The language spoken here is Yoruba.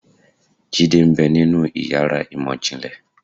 Jidé ń bẹ́ ninú ìyára imọ jinlẹ